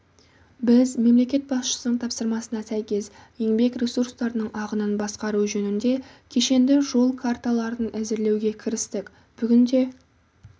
біз мемлекет басшысының тапсырмасына сәйкес еңбек ресурстарының ағынын басқару жөнінде кешенді жол карталарын әзірлеуге кірістік бүгінде